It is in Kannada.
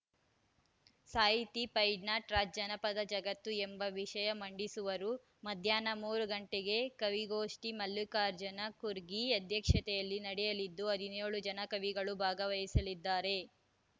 ಸಾಹಿತಿ ಫೈಜ್ನಾಟ್ರಾಜ್‌ ಜನಪದ ಜಗತ್ತು ಎಂಬ ವಿಷಯ ಮಂಡಿಸುವರು ಮಧ್ಯಾಹ್ನ ಮೂರು ಗಂಟೆಗೆ ಕವಿಗೋಷ್ಠಿ ಮಲ್ಲಿಕಾರ್ಜುನ ಕುರ್ಕಿ ಅಧ್ಯಕ್ಷತೆಯಲ್ಲಿ ನಡೆಯಲಿದ್ದು ಹದಿನ್ಯೋಳು ಜನ ಕವಿಗಳು ಭಾಗವಹಿಸಲಿದ್ದಾರೆ